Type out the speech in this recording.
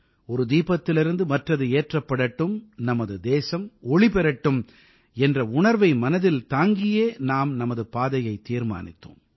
ஒரு தீபத்திலிருந்து மற்றது ஏற்றப்படட்டும் நமது தேசம் ஒளி பெறட்டும் என்ற உணர்வை மனதிலே தாங்கியே நாம் நமது பாதையைத் தீர்மானித்தோம்